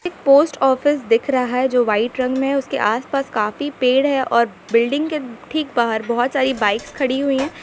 एक post office दिख रहा है जो व्हाइट रंग में है उसके पास काफी पेड़ है और बिल्डिंग के ठीक बाहर बहुत साड़ी बाइक्स खड़ी हुई है।